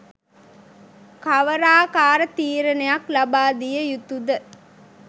කවරාකාර තීරණයක් ලබාදිය යුතුද?